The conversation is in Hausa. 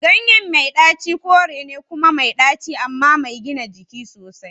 Ganyen mai daci kore ne kuma mai ɗaci amma mai gina jiki sosai.